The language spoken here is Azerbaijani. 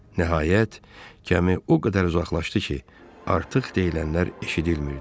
Nəhayət, gəmi o qədər uzaqlaşdı ki, artıq deyilənlər eşidilmirdi.